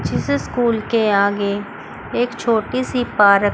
जिस स्कूल के आगे एक छोटी सी पार्क --